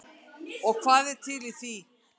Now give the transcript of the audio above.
Og hvað er til í því?